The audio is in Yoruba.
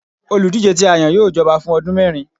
olúdijé ti a yan, yóò jọba fun ọdun mẹrin